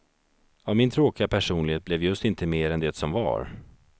Av min tråkiga personlighet blev just inte mer än det som var.